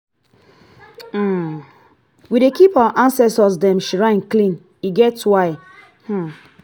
um we dey keep our ancestor dem shrine clean e get why. um